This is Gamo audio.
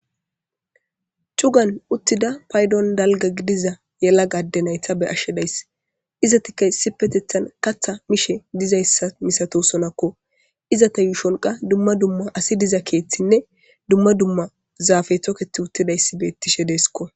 Cugan uttida paydon dalga gidiza yela gadde nayta be ashshedays iza tika sipetethan katha mishe dizayssa misato sonakko iza ta yuusholqa dumma dumma asi diza keeththinne dumma dumma zaafe toketi uttidayssi beettishe deeskko